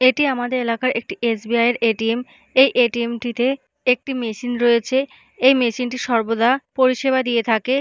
এটি আমাদের এলাকার একটি এস.বি.আই. এর এ.টি.এম. এই এ.টি.এম. -টিতে একটি মেশিন রয়েছে এই মেশিন -টি সর্বদা পরিষেবা দিয়ে থাকে।